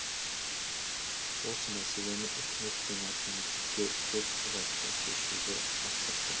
осы мәселені үкімет пен әкімдікке көп ұзатпай шешуді тапсырды